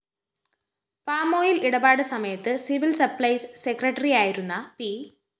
palm oil‍ ഇടപാട് സമയത്ത് civil supplies സെക്രട്ടറിയായിരുന്ന പി